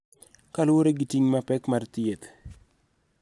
Kaluwore gi ting' mapek mar thieth.